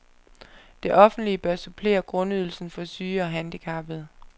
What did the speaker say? Det offentlige bør supplere grundydelsen for syge og handicappede.